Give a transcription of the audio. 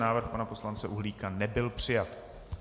Návrh pana poslance Uhlíka nebyl přijat.